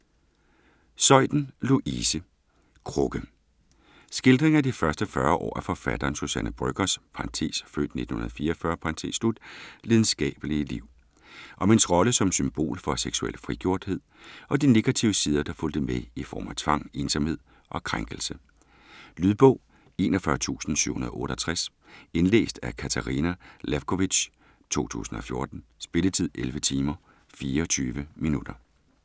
Zeuthen, Louise: Krukke Skildring af de første 40 år af forfatteren Suzanne Brøggers (f. 1944) lidenskabelige liv. Om hendes rolle som symbol for seksuel frigjorthed, og de negative sider der fulgte med i form af tvang, ensomhed og krænkelse. Lydbog 41768 Indlæst af Katarina Lewkovitch, 2014. Spilletid: 11 timer, 24 minutter.